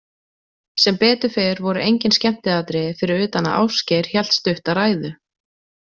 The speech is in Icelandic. Sem betur fer voru engin skemmtiatriði fyrir utan að Ásgeir hélt stutta ræðu.